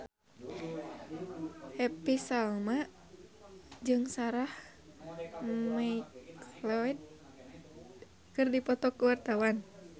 Happy Salma jeung Sarah McLeod keur dipoto ku wartawan